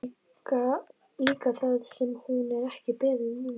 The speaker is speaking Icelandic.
Líka það sem hún er ekki beðin um.